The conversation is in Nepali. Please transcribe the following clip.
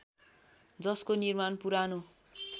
जसको निर्माण पुरानो